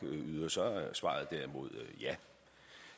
yder så er svaret derimod